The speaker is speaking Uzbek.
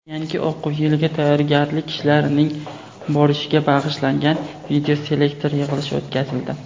yangi o‘quv yiliga tayyorgarlik ishlarining borishiga bag‘ishlangan videoselektor yig‘ilishi o‘tkazildi.